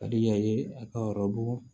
Ka di yan ye a ka yɔrɔ bɔ